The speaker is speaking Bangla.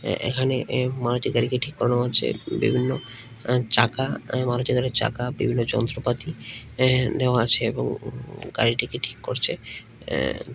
এখানে এক মারুতি গাড়িকে ঠিক করানো হচ্ছে বিভিন্ন আ চাকা ওই মারুতি গাড়ির চাকা বিভিন্ন যন্ত্রপাতি অ্যা দেওয়া আছে এবং গাড়িটিকে ঠিক করছে অ্যা।